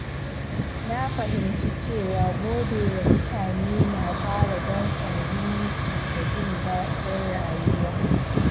Na fahimci cewa godewa mutane na ƙara dankon zumunci da jin daɗin rayuwa.